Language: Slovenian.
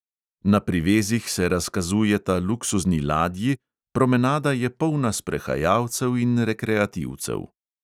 Na privezih se razkazujeta luksuzni ladji, promenada je polna sprehajalcev in rekreativcev.